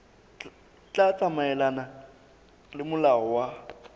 tla tsamaelana le molao wa